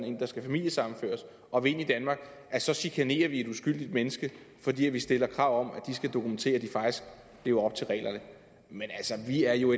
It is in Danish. en der skal familiesammenføres og vil ind i danmark så chikanerer vi uskyldige mennesker fordi vi stiller krav om at de skal dokumentere at de faktisk lever op til reglerne men vi er jo